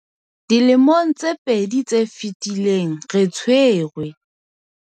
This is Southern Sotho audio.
Dilemong tse pedi tse fetileng, re tshwere,